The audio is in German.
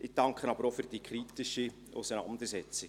Ich danke aber auch für die kritische Auseinandersetzung.